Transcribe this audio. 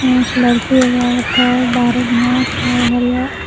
pink के एगो औरत हई बाहरे घास हई हरियर --